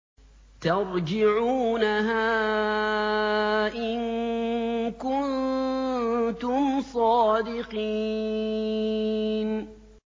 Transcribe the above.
تَرْجِعُونَهَا إِن كُنتُمْ صَادِقِينَ